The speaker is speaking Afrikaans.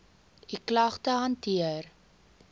u klagte hanteer